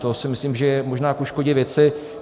To si myslím, že je možná ku škodě věci.